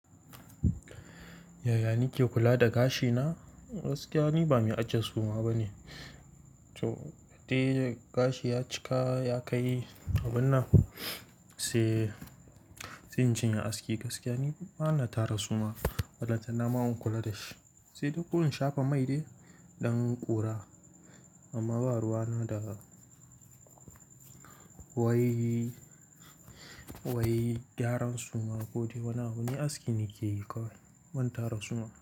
Yaya nike kula da gashina? Gaskiya ni bani ajiye suma bane. To, da gashi ya cika ya kai kabinna sai, sai in janye aski. Gaskiya ni bana tara suma. Ballantana ma inkula dashi. Sai duk in shafa mai dai, ɗan ƙura. Amma baruwa na da wai, wai gyaran suma ko wane, wane aski nikeyi kawai ban tara suma.